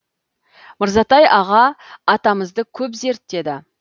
мырзатай аға атамызды көп зерттеді